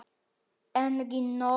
Engin nöfn.